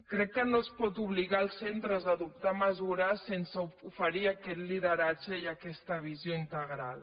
crec que no es pot obligar els centres a adoptar mesures sense oferir aquest lideratge i aquesta visió integral